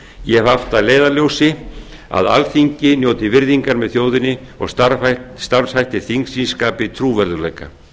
ég hef haft að leiðarljósi að alþingi njóti virðingar með þjóðinni og starfshættir þingsins skapi trúverðugleika